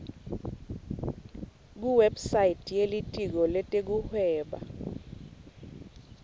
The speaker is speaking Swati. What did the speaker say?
kuwebsite yelitiko letekuhweba